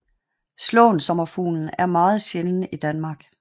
Slåensommerfuglen er meget sjælden i Danmark